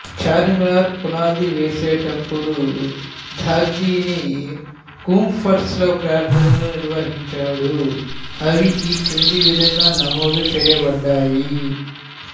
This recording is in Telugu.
చార్మినారు పునాది వేసేటప్పుడు దఖిని కూప్ట్స్ లో ప్రార్థనలు నిర్వహించాడు అవి ఈ క్రింది విధంగా నమోదు చేయబడ్డాయి